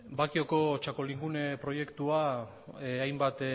bakioko txakolingune proiektua hainbat